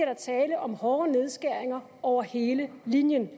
der tale om hårde nedskæringer over hele linjen